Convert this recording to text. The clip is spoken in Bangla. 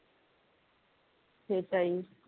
সেটাই